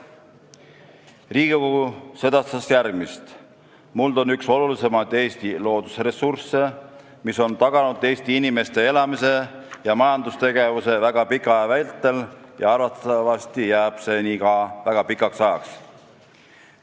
Riigikogu sedastas järgmist: "Muld on üks olulisemaid Eesti loodusressursse, mis on taganud eesti inimeste elamise ja majandustegevuse väga pika aja vältel ja arvatavasti jääb see nii väga pikaks ajaks.